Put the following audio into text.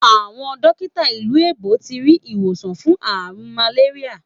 Awọn dotika ilu èbó ti ri iwosan fun aarun màléríyà